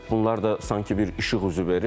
Bunlar da sanki bir işıq üzü verir.